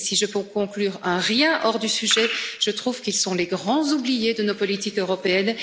de la maladie. Et si je peux conclure un rien hors du sujet, je trouve qu'ils sont les grands oubliés de nos politiques